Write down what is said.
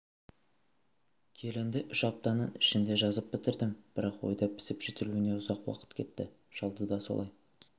келінді үш аптаның ішінде жазып бітірдім бірақ ойда пісіп-жетілуіне ұзақ уақыт кетті шалды да солай